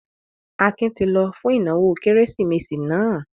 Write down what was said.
Akin ti lọ fún ìnáwó Kérésìmesì náà?